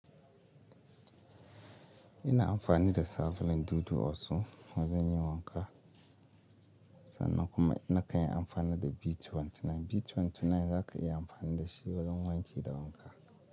Ina amfani da Safalin, Dudu, Osu wajen yin wanka sannan kuma ina kan yi amfani da B29. B29 za ka iya amfani da shi wajen wanki da wanka.